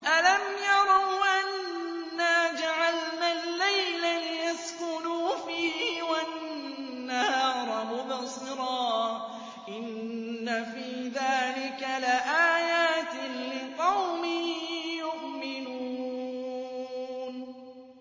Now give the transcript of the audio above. أَلَمْ يَرَوْا أَنَّا جَعَلْنَا اللَّيْلَ لِيَسْكُنُوا فِيهِ وَالنَّهَارَ مُبْصِرًا ۚ إِنَّ فِي ذَٰلِكَ لَآيَاتٍ لِّقَوْمٍ يُؤْمِنُونَ